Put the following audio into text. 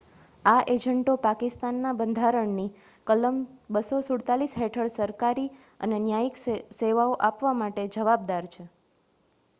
આ એજન્ટો પાકિસ્તાની બંધારણની કલમ 247 હેઠળ સરકારી અને ન્યાયિક સેવાઓ આપવા માટે જવાબદાર છે